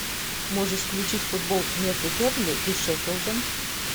можешь включить футбол между бернли и шеффилдом